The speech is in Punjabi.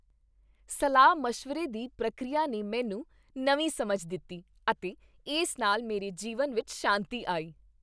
ਸਲਾਹ ਮਸ਼ਵਰੇ ਦੀ ਪ੍ਰਕਿਰਿਆ ਨੇ ਮੈਨੂੰ ਨਵੀਂ ਸਮਝ ਦਿੱਤੀ ਅਤੇ ਇਸ ਨਾਲ ਮੇਰੇ ਜੀਵਨ ਵਿੱਚ ਸ਼ਾਂਤੀ ਆਈ